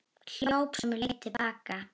Hljóp sömu leið til baka.